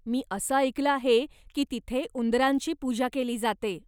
मी असं ऐकलं आहे की तिथे उंदरांची पूजा केली जाते.